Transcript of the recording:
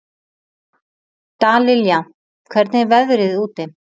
Dallilja, hvernig er veðrið úti?